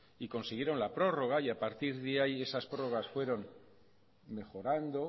y consiguieron la prórroga y a partir de ahí esas prórrogas fueron mejorando